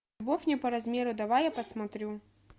любовь не по размеру давай я посмотрю